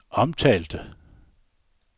omtalte